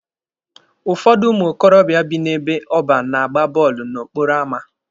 Ụfọdụ ụmụ okorobịa bị n'ebe ọban na-agba bọọlụ n'okporo ama.